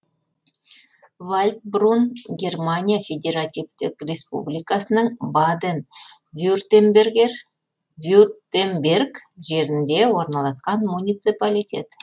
вальдбрун германия федеративтік республикасының баден вюртемберг жерінде орналасқан муниципалитет